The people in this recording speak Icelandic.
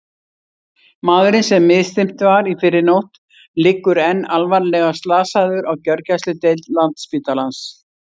Maðurinn sem misþyrmt var í fyrrinótt liggur enn alvarlega slasaður á gjörgæsludeild Landspítalans.